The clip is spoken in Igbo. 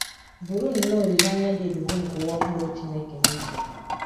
Buru nnọọ olileanya dị ebube nke ụwa ọhụrụ Chineke n’uche